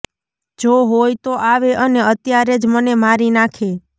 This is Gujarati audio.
જો હોય તો આવે અને અત્યારે જ મને મારી નાખે